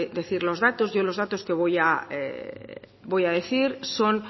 decir los datos yo los datos que voy a decir son